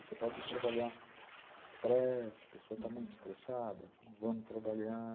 Você pode trabalhar estresse, a pessoa está muito estressada, vamos trabalhar.